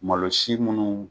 Malo si munnu